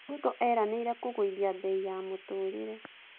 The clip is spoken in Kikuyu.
Ruto eranĩire kũgũithia mbei ya mũtũrĩre.